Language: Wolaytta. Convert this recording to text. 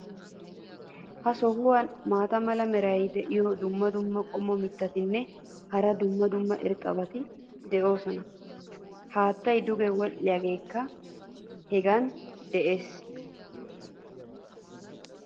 Ha sohuwan maata mala meray diyo dumma dumma qommo mitattinne hara dumma dumma irxxabati de'oosona. haattay duge wodhdhiyaageekka hegan des.